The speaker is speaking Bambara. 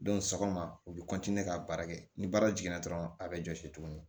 sɔgɔma u bɛ ka baara kɛ ni baara jiginna dɔrɔn a bɛ jɔsi tuguni